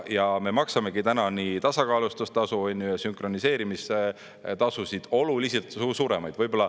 Ja me maksamegi täna nii tasakaalustustasu ja sünkroniseerimise tasusid oluliselt suuremaid.